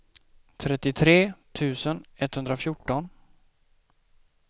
trettiotre tusen etthundrafjorton